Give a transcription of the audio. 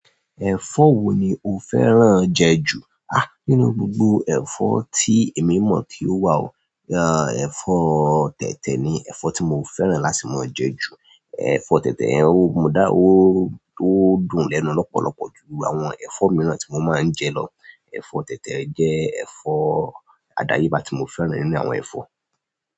Ẹ̀fọ́ wo ni o fẹ́ràn jẹ ju? Ha! Nínú gbogbo ẹ̀fọ́ tí èmi mọ̀ tí ó wà o, ẹ́, ẹ̀fọ́ tẹ̀tẹ̀ ni ẹ̀fọ́ tí mo fẹ́ràn láti mọ jẹ ju. Ẹ̀fọ́ tẹ̀tẹ̀ yẹn o dùn lẹ́nu lọ́pọ̀lọ́pọ̀ ju àwọn ẹ̀fọ́ mìíràn tí mo máa ń jẹ lọ. Ẹ̀fọ́ tẹ̀tẹ̀ jẹ́ ẹ̀fọ́ àdáyébá tí mo fẹ́ràn nínú àwọn ẹ̀fọ́.